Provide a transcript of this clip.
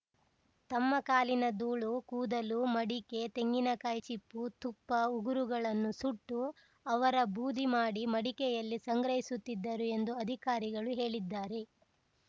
ತಮ್ಮ ಕಾಲಿನ ಧೂಳು ಕೂದಲು ಮಡಿಕೆ ತೆಂಗಿನಕಾಯಿ ಚಿಪ್ಪು ತುಪ್ಪ ಉಗುರುಗಳನ್ನು ಸುಟ್ಟು ಅವರ ಬೂದಿ ಮಾಡಿ ಮಡಿಕೆಯಲ್ಲಿ ಸಂಗ್ರಹಿಸುತ್ತಿದ್ದರು ಎಂದು ಅಧಿಕಾರಿಗಳು ಹೇಳಿದ್ದಾರೆ